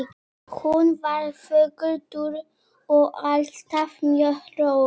Hún var þögul, dul og alltaf mjög róleg.